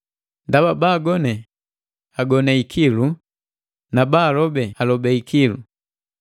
Ndaba baagone, agone ikilu na baalobe, alobe ikilu.